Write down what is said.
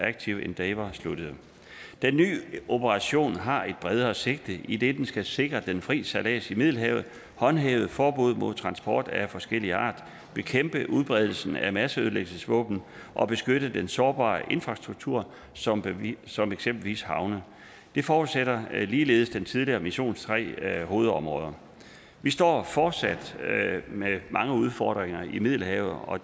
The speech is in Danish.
active endeavour sluttede den nye operation har et bredere sigte idet den skal sikre den frie sejlads i middelhavet håndhæve forbuddet mod transport af forskellig art bekæmpe udbredelsen af masseødelæggelsesvåben og beskytte den sårbare infrastruktur som som eksempelvis havne det forudsætter ligeledes den tidligere missions tre hovedområder vi står fortsat med mange udfordringer i middelhavet og